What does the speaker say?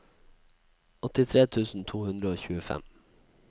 åttifire tusen to hundre og tjuefem